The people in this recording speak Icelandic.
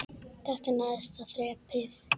Þetta er neðsta þrepið.